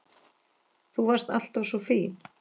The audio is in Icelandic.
Þú varst alltaf svo fín.